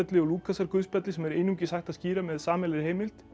og Lúkasarguðspjalli sem er einungis hægt að skýra með sameiginlegri heimild